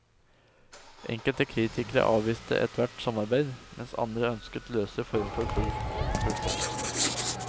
Enkelte kritikere avviste ethvert samarbeid, mens andre ønsket løsere former enn full fusjon.